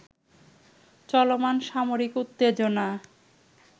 চলমান সামরিক উত্তেজনা